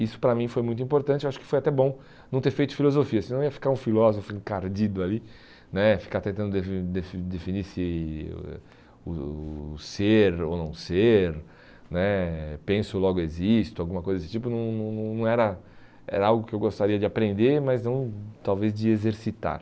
Isso para mim foi muito importante, acho que foi até bom não ter feito filosofia, senão ia ficar um filósofo encardido ali né, ficar tentando definir se o o ser ou não ser né, penso logo existo, alguma coisa desse tipo, não não não era era algo que eu gostaria de aprender, mas não talvez de exercitar.